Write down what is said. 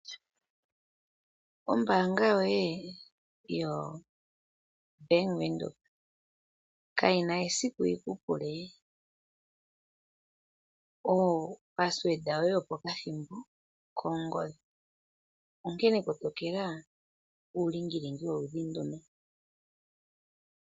Ombaanga yoye yo Bank Windhoek kayina esiku yiku pule onomola yoye yopaumwene yopo kathimbo kongodhi. Onkene kotokela uulingilingi woludhi ndo.